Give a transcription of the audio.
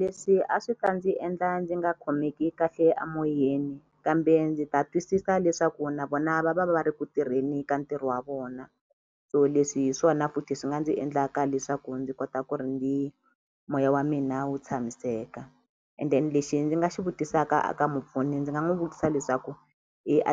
Leswi a swi ta ndzi endla ndzi nga khomeki kahle a moyeni kambe ndzi ta twisisa leswaku na vona va va va va ri ku tirheni ka ntirho wa vona so leswi hi swona futhi swi nga ndzi endlaka leswaku ndzi kota ku ri ndzi moya wa mina wu tshamiseka and then lexi ndzi nga xi vutisaka a ka mupfuni ndzi nga n'wu vutisa leswaku